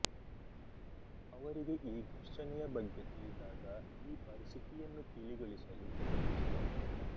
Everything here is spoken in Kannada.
ಅವರಿಗೆ ಈ ಘರ್ಷಣೆಯ ಬಗ್ಗೆ ತಿಳಿದಾಗ ಈ ಪರಿಸ್ಥಿತಿಯನ್ನು ತಿಳಿಗೊಳಿಸಲು ಯತ್ನಿಸಿದರು